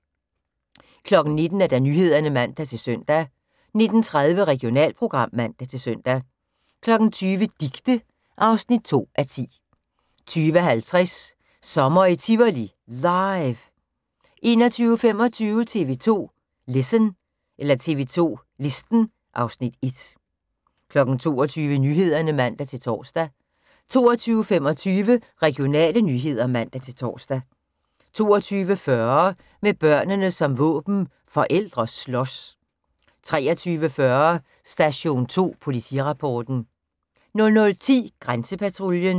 19:00: Nyhederne (man-søn) 19:30: Regionalprogram (man-søn) 20:00: Dicte (2:10) 20:50: Sommer i Tivoli – LIVE 21:25: TV 2 Listen (Afs. 1) 22:00: Nyhederne (man-tor) 22:25: Regionale nyheder (man-tor) 22:40: Med børnene som våben – forældre slås 23:40: Station 2 Politirapporten 00:10: Grænsepatruljen